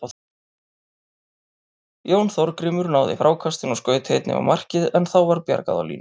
Jón Þorgrímur náði frákastinu og skaut einnig á markið en þá var bjargað á línu.